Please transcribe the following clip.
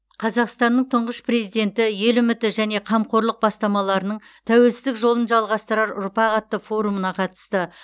қазақстанның тұңғыш президенті ел үміті және қамқорлық бастамаларының тәуелсіздік жолын жалғастырар ұрпақ атты форумына қатысты